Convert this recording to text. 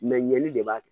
Mɛ ɲɛli de b'a kɛ